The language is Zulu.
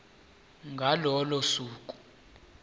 ngalo lolo suku